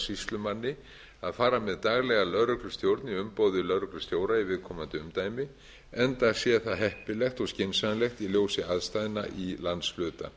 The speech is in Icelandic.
sýslumanni að fara með daglega lögreglustjórn í umboði lögreglustjóra í viðkomandi umdæmi enda sé það heppilegt og skynsamlegt í ljósi aðstæðna í landshluta